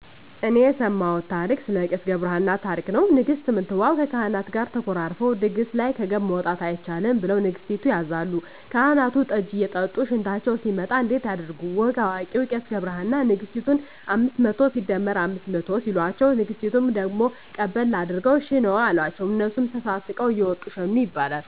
እኔ የሰማውት ታሪክ ስለ ቄስ ገብርሃና ታሪክ ነው ንግስት ምንትዋብ ከካህናት ጋር ተኮራርፈው ድግስ ላይ ከገብ መውጣት አይቻልም ብለሁ ንገስቲቱ ያዛሉ ካህናቱን ጠጂ እየጠጡ ሽንታቸው ሲመጣ እንዴት ያድርጉ ወግ አዋቂው ቄስ ገብረሃና ነግስቲቱን አምስት መቶ ሲደመር አምስት መቶ ሲሎቸው ንግስቲቱ ደግሞ ቀበል አድርገው ሽነዋ አሎቸው እነሱም ተሳስቀው እየወጡ ሸኑ ይባላል